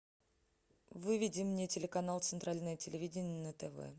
выведи мне телеканал центральное телевидение на тв